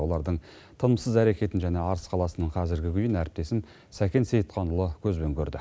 олардың тынымсыз әрекетін және арыс қаласының қазіргі күйін сәкен сейітханұлы көзбен көрді